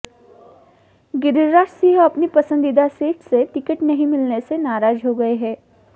गिरिराज सिंह अपनी पसंदीदा सीट से टिकट नहीं मिलने से नाराज हो गए हैं